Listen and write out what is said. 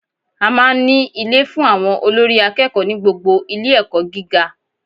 A máa n ní Ilé fun àwon olórí akéèkó ní gbogbo Ilé èkó gíga